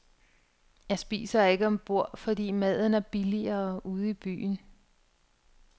Jeg spiser ikke ombord, fordi maden er billigere ude i byen.